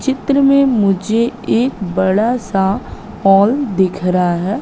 चित्र में मुझे एक बड़ा सा हॉल दिख रहा है।